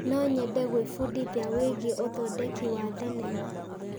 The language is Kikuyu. No nyende gwĩbundithia wĩgiĩ ũthondeki wa thenema.